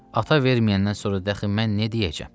Ata verməyəndən sonra daxı mən nə deyəcəm?